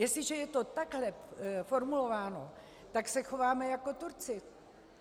Jestliže je to takhle formulováno, tak se chováme jako Turci.